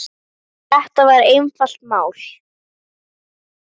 Þetta var einfalt mál.